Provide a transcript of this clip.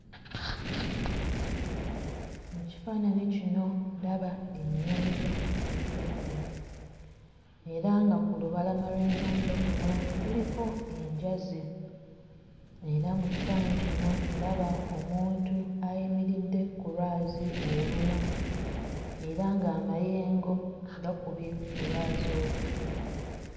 Mu kifaananyi kino ndaba ennyanja ggaggadde era nga ku lubalama lw'ennyanja kuno kuliko enjazi era mu kifaananyi kino ndaba omuntu ayimiridde ku lwazi olumu era ng'amayengo agakubye ku lwazi olwo.